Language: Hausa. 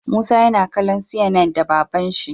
Musa na kallo CNN da baban shi